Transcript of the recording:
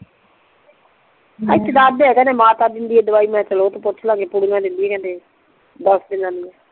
ਇੱਥੇ ਦੱਸਦੇ ਆ ਕਿਹੰਦੇ ਮਾਤਾ ਦਿੰਦੀ ਆ ਦਵਾਈ ਮੈਂ ਕਿਆ ਚੱਲ ਓਥੋਂ ਪੁੱਛ ਲਵਾਂਗੇ ਪੁੜਿਆ ਦਿੰਦੀ ਆ ਤੇ ਦੱਸ ਦੀਨਾ ਦੀਆ